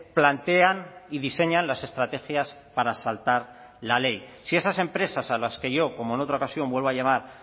plantean y diseñan las estrategias para saltar la ley si esas empresas a las que yo como en otra ocasión vuelvo a llamar